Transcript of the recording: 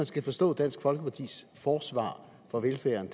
skal forstå dansk folkepartis forsvar for velfærden